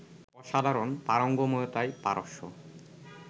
অসাধারণ পারঙ্গমতায় পারস্য